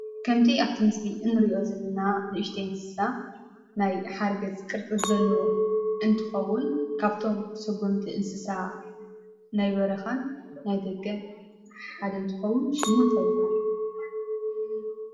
ከምቲ አብቲ ምስሊ እንሪኦ ዘለና ንእሽተይ እንስሳ ናይ ሓርገፅ ቅርፂ ዘለዎ እንትከውን ካብቶም ሰጎምቲን እንስሳ ናይ በረካን ናይ ደገን ሓደ እንትከውን ሹሙ እንታይ ይበሃል?